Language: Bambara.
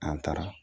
An taara